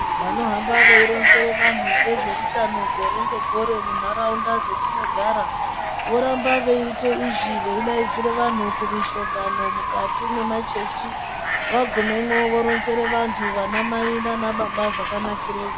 Vanohamba veironzera vantu ngezveutano gore ngegore muntaraunda dzetinogara voramba veiite veidaidzire vantu kumishongano mukati mwemachechi vagumemwo voronzere vantu vanamai nanababa zvakanakireyo.